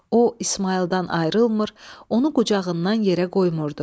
O İsmayıldan ayrılmır, onu qucağından yerə qoymurdu.